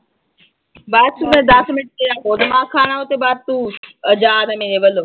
ਬਸ ਮੈਂ ਦਸ ਮਿੰਟ ਤੇਰਾ ਹੋਰ ਦਿਮਾਗ ਖਾਣਾ ਉਹਦੇ ਬਾਅਦ ਤੂੰ ਆਜ਼ਾਦ ਹੈ ਮੇਰੇ ਵੱਲੋਂ।